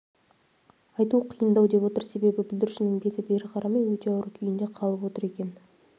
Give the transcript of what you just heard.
айту қиындау деп отыр себебі бүлдіршіннің беті бері қарамай өте ауыр күйінде қалып отыр екен